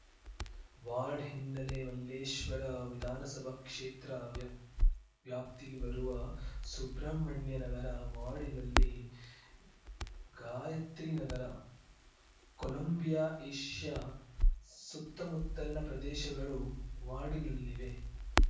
ward ಹಿನ್ನೆಲೆ ಮಲ್ಲೇಶ್ವರ ವಿಧಾನಸಭಾ ಕ್ಷೇತ್ರ ವ್ಯಾಪ್ ವ್ಯಾಪ್ತಿಗೆ ಬರುವ ಸುಬ್ರಹ್ಮಣ್ಯನಗರ ವಾರ್ಡಿನಲ್ಲಿ ಗಾಯತ್ರಿನಗರ ಕೊಲಂಬಿಯಾ ಏಷ್ಯಾ ಸತ್ತಮುತ್ತಲಿನ ಪ್ರದೇಶಗಳು ವಾರ್ಡಿನಲ್ಲಿವೆ